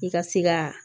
I ka se ka